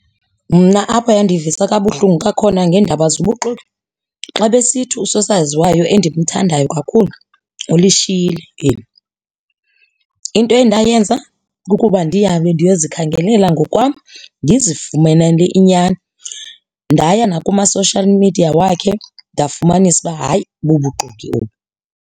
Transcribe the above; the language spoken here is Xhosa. Mna apho yandivisa kabuhlungu kakhona ngeendaba zobuxoki, xa besithi usosaziwayo endimthandayo kakhulu ulishiyile eli. Into endayenza ukuba ndihambe ndiyozikhangelela ngokwam ndizifumanele inyani, ndaya nakuma-social media wakhe ndafumanisa uba hayi bubuxoki obu.